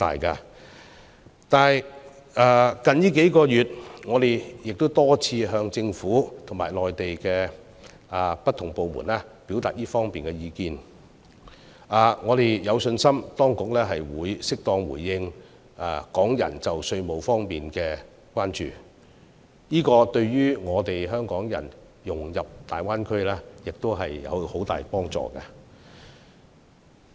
最近數月，我們多次向政府及內地不同部門表達這方面的意見，我們有信心當局會適當回應港人就稅務方面的關注，這對於香港人融入大灣區亦有很大幫助。